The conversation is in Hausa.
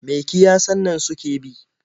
Me kiyasan nan suke bi?